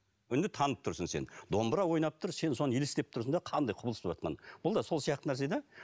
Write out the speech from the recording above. үнді танып тұрсың сен домбыра ойнап тұр сен соны елестетіп тұрсың да қандай құбылыс боватқанын бұл да сол сияқты нәрсе де